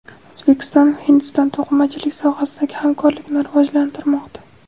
O‘zbekiston va Hindiston to‘qimachilik sohasidagi hamkorlikni rivojlantirmoqda.